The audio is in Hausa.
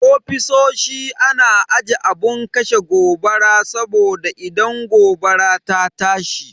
Ofisoshi na aje abun kashe gobara saboda idan gobara ta tashi.